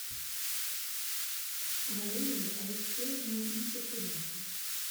валерию алексеевну нечепуренко